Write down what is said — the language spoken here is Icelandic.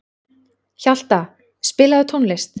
Hjalta, spilaðu tónlist.